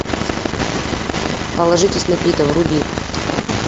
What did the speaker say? положитесь на пита вруби